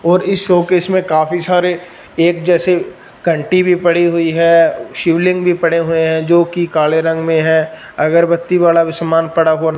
और इस शोकेस में काफी सारे एक जैसे कंटि भी पड़ी हुई है शिवलिंग भी पड़े हुए हो जो कि काले रंग में है अगरबत्ती वाला भी समान पड़ा हुआ--